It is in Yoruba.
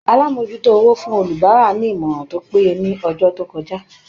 Alamojuto owó fún àwọn olubara ní ìmọràn tó péye ni ọjọ to kọjá.